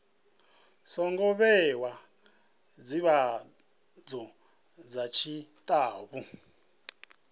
songo vhewa ndivhadzo dza tshitafu